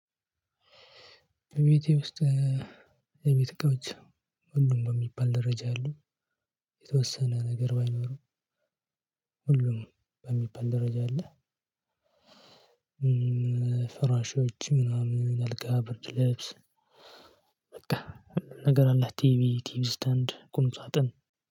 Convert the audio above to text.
ቤቴ ውስጥ የቤት እቃዎች ሁሉም ነው የሚባል ደረጃ የለም። የተወሰነ ነገር ባይኖርም ሁሉም በሚባል ደረጃ አለ። ፍራሾች ምናምን አልጋ ብርድ ልብስ። በቃ ነገር አለ ቲቪ ቲቪ ስታንድ ቁም ሳጥን